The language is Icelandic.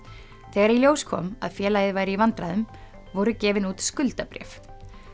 þegar í ljós kom að félagið væri í vandræðum voru gefin út skuldabréf